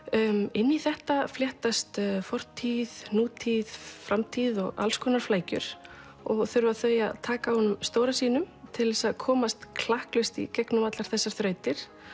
inn í þetta fléttast fortíð nútíð framtíð og alls konar flækjur og þurfa þau að taka á honum stóra sínum til að komast klakklaust í gegnum allar þessar þrautir